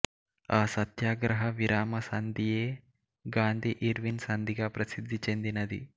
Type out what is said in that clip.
ఆ సత్యాగ్రహ విరామ సంధియే గాంధీఇర్విన్ సంధిగా ప్రసిధ్ది చెందినది